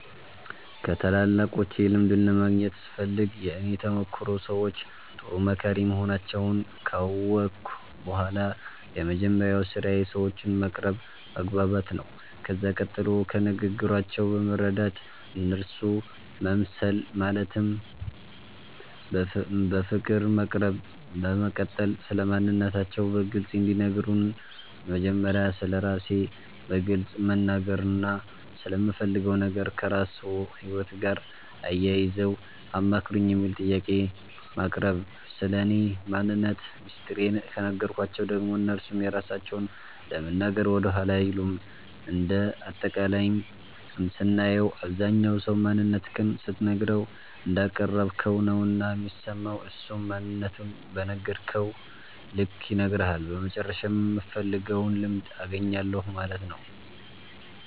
ከታላላቆቼ ልምድን ለማግኘት ስፈልግ የእኔ ተሞክሮ ሰዎቹ ጥሩ መካሪ መሆናቸዉን ካወቅሁ በኋላ የመጀመሪያዉ ስራዬ ሰዎቹን መቅረብ መግባባት ነዉ ከዛ ቀጥሎ ከንግግራቸዉ በመረዳት እነርሱ መምሰል ማለትም በፍቅር መቅረብ በመቀጠል ስለማንነታቸዉ በግልፅ እንዲነግሩን መጀመሪያ ስለራሴ በግልፅ መናገርና ስለምፈልገዉ ነገር ከራስዎ ህይወት ጋር አያይዘዉ አማክሩኝ የሚል ጥያቄን ማቅረብ ስለኔ ማንነት ሚስጥሬን ከነገርኳቸዉ ደግሞ እነርሱም የራሳቸዉን ለመናገር ወደኋላ አይሉም እንደ አጠቃላይም ስናየዉ አብዛኝ ሰዉ ማንነትክን ስትነግረዉ እንዳቀረብከዉ ነዉና የሚሰማዉ እሱም ማንነቱን በነገርከዉ ልክ ይነግርሀል በመጨረሻም የምፈልገዉን ልምድ አገኛለሁ ማለት ነዉ።